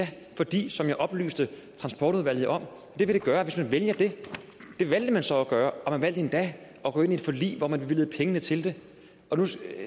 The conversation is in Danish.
det fordi som jeg oplyste transportudvalget om at det vil det gøre hvis man vælger det det valgte man så at gøre og man valgte endda at gå ind i et forlig hvor man bevilgede pengene til det